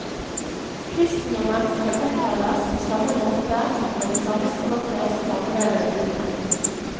Kristendommen skal omtales på samme måte og med det samme språket som andre religioner.